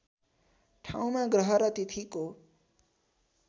ठाउँमा ग्रह र तिथिको